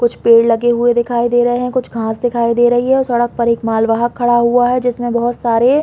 कुछ पेड़ लगे हुए दिखाई दे रहे है कुछ घास दिखाई दे रही है सड़क पर एक माल वाहन खड़ा हुआ है जिसमें बहुत सारे--